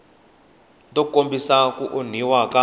to kombisa ku onhiwa ka